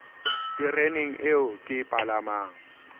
tereneng eo ke e palamang